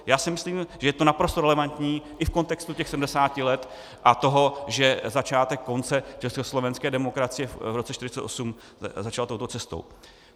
Já si myslím, že je to naprosto relevantní i v kontextu těch 70 let a toho, že začátek konce československé demokracie v roce 1948 začal touto cestou.